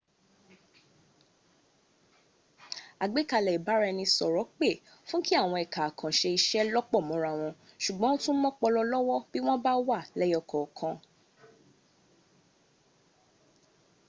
àgbékalẹ̀ ìbáraẹnisọ̀rọ̀ pè fú kí àwọn ẹka àkànṣe iṣẹ́ lọ́pọ̀ mọ́ra wọn sùgbọ́n ó tún mọ́pọlọ lọ́wọ́ bí wọ́n bá wà lẹ́yọkọ̀ọ̀kan